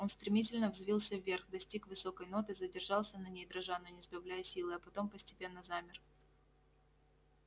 он стремительно взвился вверх достиг высокой ноты задержался на ней дрожа но не сбавляя силы а потом постепенно замер